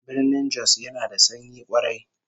Birnin Jos yana da sanyi kwarai